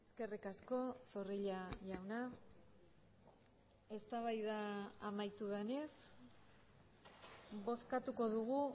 eskerrik asko zorrilla jauna eztabaida amaitu denez bozkatuko dugu